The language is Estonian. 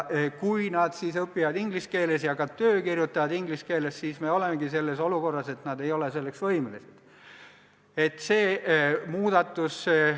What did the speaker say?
Kui nad aga õpivad inglise keeles ja ka töö kirjutavad inglise keeles, siis me olemegi selles olukorras, et nad ei ole siin keskkonnas töötamiseks võimelised.